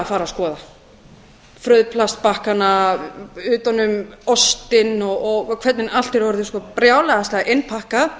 að fara að skoða það frauðplastbakkana utan um ostinn og hvernig allt er orðið sko brjálæðislega innpakkað